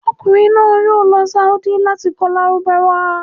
Ọmọkunrin naa yoo lọ saodi lati kọ lárúbáwá